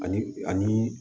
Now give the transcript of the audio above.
Ani ani